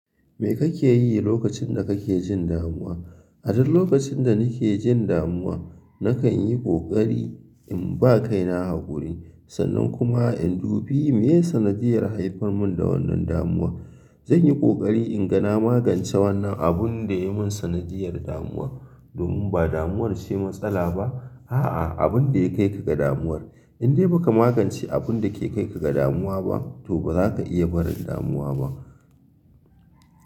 Me kake yi lokacin da kake jin damuwa? A duk lokacin da nake jin damuwa, na kan yi ƙoƙari in ba kaina haƙuri sannan kuma in dubi meye sanadiyyar haifar mun da wannan damuwar. Zan yi ƙoƙari in ga na magance wannan abunda yai mun sanadiyyar damuwa. Domin ba damuwar ce matsala ba, a'a abun da ya kai ka ga damuwar. In dai baka magance abun dake kai ka ga damuwa ba to ba zaka iya barin damuwa ba.